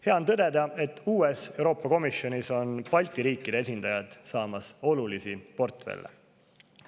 Hea on tõdeda, et uues Euroopa Komisjonis saavad Balti riikide esindajad olulisi portfelle.